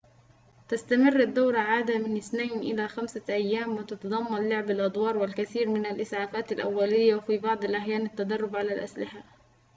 تستمر الدورة عادةً من 2 إلى 5 أيام وتتضمن لعب الأدوار والكثير من الإسعافات الأولية وفي بعض الأحيان التدرب على الأسلحة